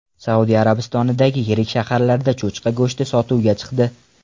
Saudiya Arabistonidagi yirik shaharlarda cho‘chqa go‘shti sotuvga chiqdi.